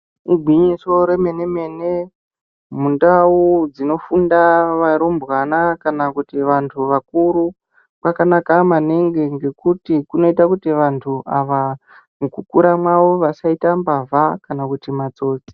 Igwinyiso remene mene mundau dzinofunda varumbwana kana kuti vantu vakura kwakanaka maningi nekuti kunoita kuti vantu ava mukukura kwavo vasati mbavha kana matsotsi.